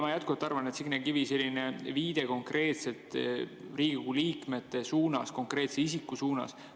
Signe Kivi tegi sellise viite konkreetsete Riigikogu liikmete suunas, konkreetse isiku suunas.